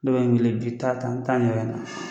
N'o ye